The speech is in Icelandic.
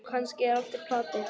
Kannski er allt í plati.